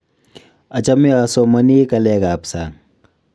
achame asomonii kaleek ab sang